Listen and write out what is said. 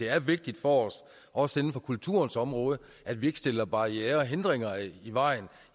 er vigtigt for os også inden for kulturens område at vi ikke stiller barrierer og hindringer i vejen